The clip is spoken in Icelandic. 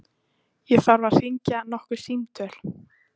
Ég þarf að hringja nokkur símtöl.